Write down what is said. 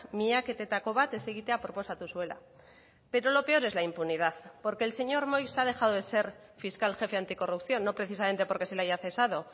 miaketetako bat ez egitea proposatu zuela pero lo peor es la impunidad porque el señor moix ha dejado de ser fiscal jefe anticorrupción no precisamente porque se le haya cesado